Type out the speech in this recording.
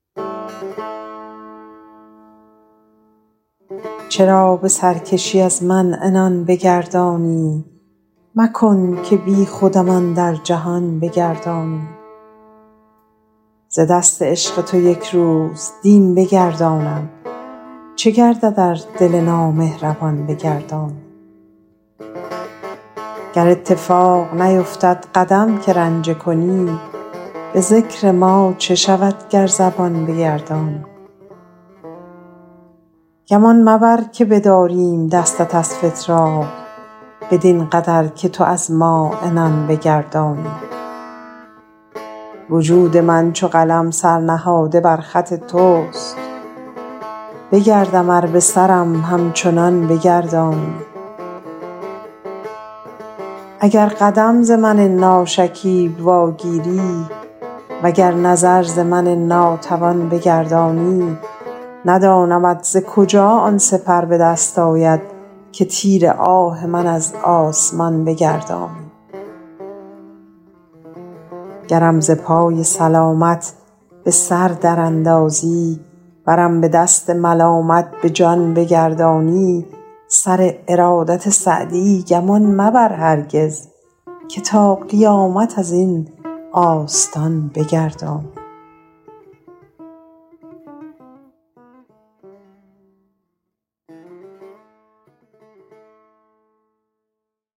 چرا به سرکشی از من عنان بگردانی مکن که بیخودم اندر جهان بگردانی ز دست عشق تو یک روز دین بگردانم چه گردد ار دل نامهربان بگردانی گر اتفاق نیفتد قدم که رنجه کنی به ذکر ما چه شود گر زبان بگردانی گمان مبر که بداریم دستت از فتراک بدین قدر که تو از ما عنان بگردانی وجود من چو قلم سر نهاده بر خط توست بگردم ار به سرم همچنان بگردانی اگر قدم ز من ناشکیب واگیری و گر نظر ز من ناتوان بگردانی ندانمت ز کجا آن سپر به دست آید که تیر آه من از آسمان بگردانی گرم ز پای سلامت به سر در اندازی ورم ز دست ملامت به جان بگردانی سر ارادت سعدی گمان مبر هرگز که تا قیامت از این آستان بگردانی